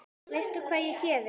Veistu hvað ég geri?